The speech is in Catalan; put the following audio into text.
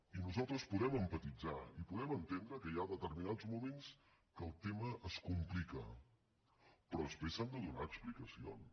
i nosaltres podem empatitzar i podem entendre que hi ha determinats moments en què el tema es complica però després s’han de donar explicacions